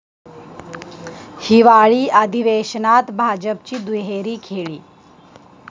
हिवाळी अधिवेशनात भाजपची दुहेरी खेळी